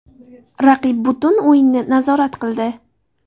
Raqib butun o‘yinni nazorat qildi.